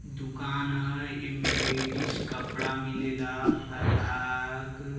दुकान ह एमें लेडिज कपड़ा मिलेला आ फराआक --